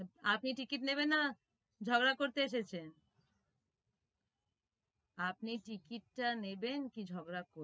আপনি ticket নেবেন না ঝগড়া করতে এসেছেন? আপনি ticket টা নেবেন কি ঝগড়া করবেন?